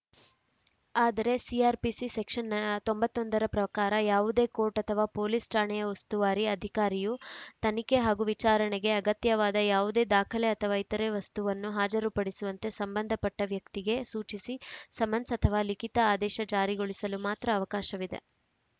ಆದರೆ CrPC section ತೊಂಬತ್ತ್ ಒಂದ ಪ್ರಕಾರ ಯಾವುದೇ ಕೋರ್ಟ್‌ ಅಥವಾ ಪೊಲೀಸ್‌ ಠಾಣೆಯ ಉಸ್ತುವಾರಿ ಅಧಿಕಾರಿಯು ತನಿಖೆ ಹಾಗೂ ವಿಚಾರಣೆಗೆ ಅಗತ್ಯವಾದ ಯಾವುದೇ ದಾಖಲೆ ಅಥವಾ ಇತರೆ ವಸ್ತುವನ್ನು ಹಾಜರುಪಡಿಸುವಂತೆ ಸಂಬಂಧಪಟ್ಟವ್ಯಕ್ತಿಗೆ ಸೂಚಿಸಿ ಸಮನ್ಸ್‌ ಅಥವಾ ಲಿಖಿತ ಆದೇಶ ಜಾರಿಗೊಳಿಸಲು ಮಾತ್ರ ಅವಕಾಶವಿದೆ